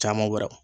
Caman wɛrɛ